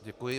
Děkuji.